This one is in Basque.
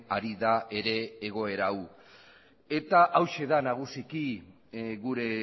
ari da ere egoera hau eta hauxe da nagusiki gure